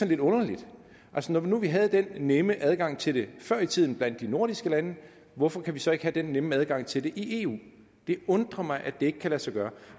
lidt underligt altså når nu vi havde den nemme adgang til det før i tiden blandt de nordiske lande hvorfor kan vi så ikke have den nemme adgang til det i eu det undrer mig at det ikke kan lade sig gøre